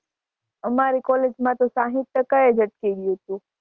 અમારી college માં તો સાઈઠ ટકા એ જ અટકી ગયું તું.